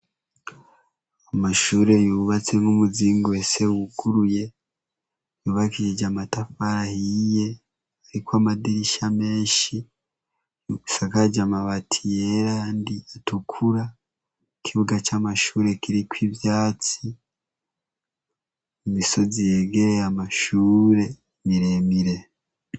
Amashure yubatse nk'umuzingi uhese wuguruye. Yubakishije amatafari ahiye. Ariko amadirisha menshi. Isakaje amabati yera nayandi atukura. Ikibuga c'amashure kiriko ivyatsi. Imisozi yegereye amashure miremire.